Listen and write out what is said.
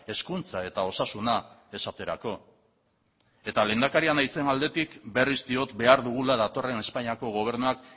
hezkuntza eta osasuna esaterako eta lehendakaria naizen aldetik berriz diot behar dugula datorren espainiako gobernuak